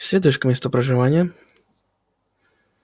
следуешь к месту проживания